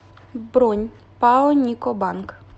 бронь пао нико банк